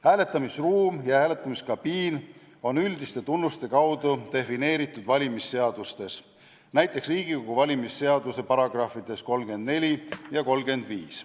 Hääletamisruumi ja hääletamiskabiini mõiste on üldiste tunnuste kaudu defineeritud valimisseadustes, näiteks Riigikogu valimise seaduse §-des 34 ja 35.